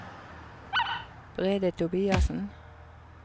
Brede Tobiassen